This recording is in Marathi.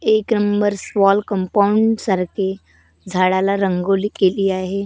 एक नंबर वॉल कम्पाऊंड सारखी झाडाला रंगोली केली आहे.